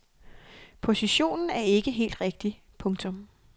Positionen er ikke helt rigtig. punktum